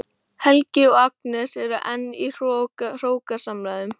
Helgi og Agnes eru enn í hrókasamræðum.